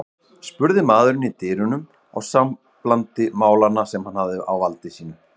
spurði maðurinn í dyrunum á samblandi málanna sem hann hafði á valdi sínu.